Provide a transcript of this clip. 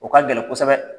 O ka gɛlɛn kosɛbɛ